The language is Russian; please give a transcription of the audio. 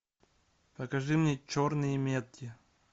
покажи мне черные метки